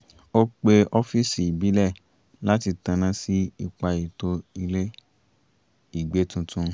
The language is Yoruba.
ó pe ọ́fíìsì ìbílẹ̀ láti tanná sí ipa ètò ìle-ìgbé tuntun